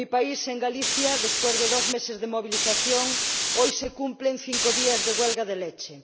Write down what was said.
En mi país, en Galicia, después de dos meses de movilización, hoy se cumplen cinco días de huelga de leche.